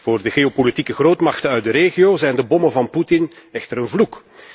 Voor de geopolitieke grootmachten uit de regio zijn de bommen van Poetin echter een vloek.